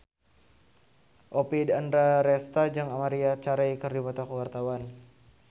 Oppie Andaresta jeung Maria Carey keur dipoto ku wartawan